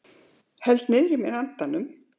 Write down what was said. Held niðrí mér andanum.